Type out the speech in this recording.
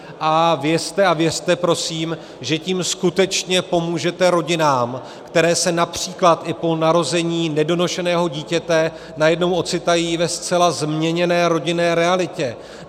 A vězte a věřte prosím, že tím skutečně pomůžete rodinám, které se například i po narození nedonošeného dítěte najednou ocitají ve zcela změněné rodinné realitě.